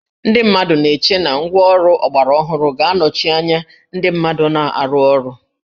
Ndị mmadụ na-eche na ngwáọrụ ọgbaraọhụrụ ga-anọchi anya ndị mmadụ na-arụ ọrụ